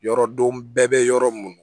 Yɔrɔ don bɛɛ bɛ yɔrɔ mun na